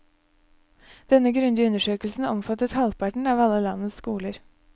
Denne grundige undersøkelsen omfattet halvparten av alle landets skoler.